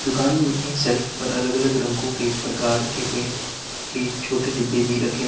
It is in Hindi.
दुकान में सेल्फ पर अलग अलग रंगों के प्रकार के पेंट की छोटे डिब्बे भी रखे हुए--